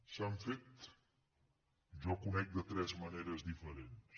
s’han fet jo conec de tres maneres diferents